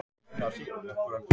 Það hefur ekki gengið eftir